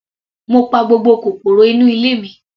Mo pa gbogbo kòkòrò inú ilé mi.